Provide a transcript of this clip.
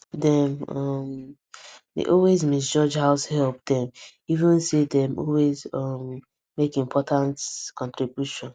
dem um dey always misjudge househelp dem even say dem always um make important contributions